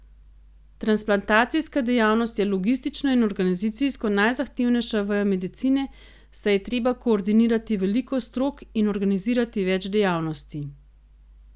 Transplantacijska dejavnost je logistično in organizacijsko najzahtevnejša veja medicine, saj je treba koordinirati veliko strok in organizirati več dejavnosti.